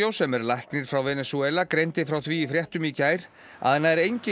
sem er læknir frá Venesúela greindi frá því í fréttum í gær að nær engin